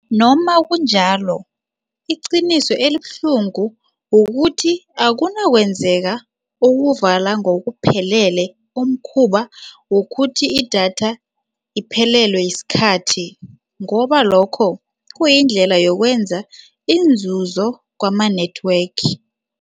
Noma kunjalo, iqiniso elibuhlungu kukuthi akunakwenzeka ukuvala ngokuphelele umkhuba wokuthi idatha iphelelwe yisikhathi ngoba lokho kuyindlela yokwenza inzuzo kwama-network.